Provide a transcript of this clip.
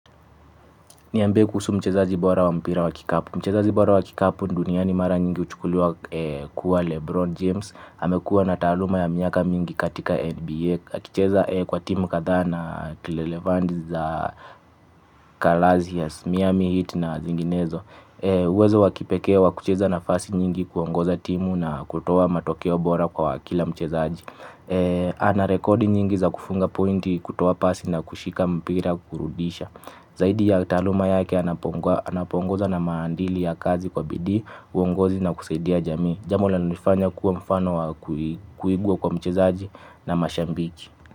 Niambie kuhusu mchezaji bora wa mpira wa kikapu. Mchezaji bora wa kikapu, duniani mara nyingi huchukuliwa kuwa Lebron James. Amekua na taaluma ya miaka mingi katika NBA. Akicheza kwa timu kadhaa na Tilelevand za Kalazias, Miami Heat na zinginezo. Uwezo wa kipekee wa kucheza nafasi nyingi kuongoza timu na kutoa matokeo bora kwa kwakila mchezaji. Ana rekodi nyingi za kufunga pointi kutoa pasi na kushika mpira kukurudisha. Zaidi ya taaluma yake anapoongoza na maadili ya kazi kwa bidii, uongozi na kusaidia jamii. Jambo linalonifanya kuwa mfano wa kuigwa kwa mchezaji na mashambiki.